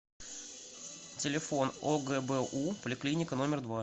телефон огбу поликлиника номер два